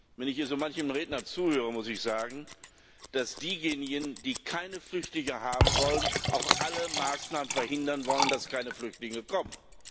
Wenn ich hier so manchem Redner zuhöre, muss ich sagen, dass diejenigen, die keine Flüchtlinge haben wollen, auch alle Maßnahmen verhindern wollen, dass keine Flüchtlinge kommen.